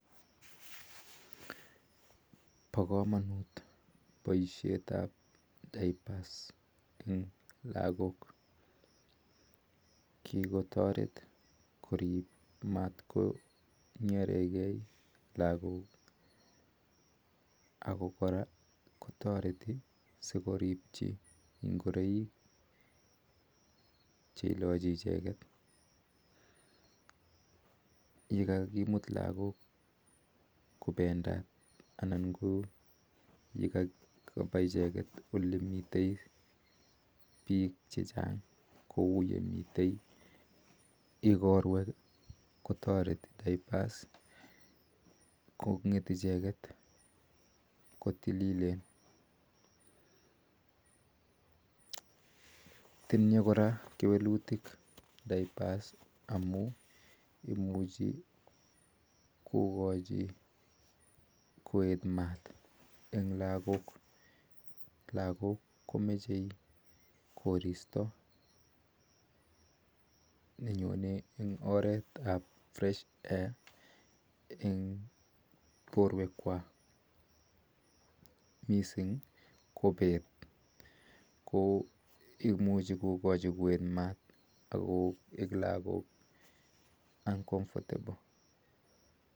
Pakamanuut poisheet ap dayapaas eng lagok kikotareet matkonyeregee lagok yakakimut lagook kopendaat kotariti kongeet icheget kotilileen tinyee kora kewelutyeet koeek maat eng lagook lagook komeche missing koristoo missing ko peeet